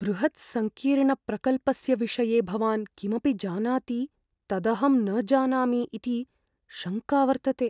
बृहत्सङ्कीर्णप्रकल्पस्य विषये भवान् किमपि जानाति तदहं न जानामि इति शङ्का वर्तते।